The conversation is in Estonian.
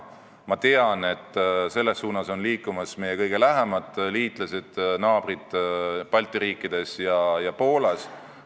Ma tean, et selles suunas on liikumas meie kõige lähemad liitlased, naabrid Balti riikides ja Poolas.